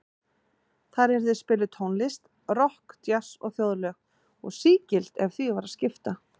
Þar yrði spiluð tónlist, rokk, djass og þjóðlög, og sígild ef því var að skipta.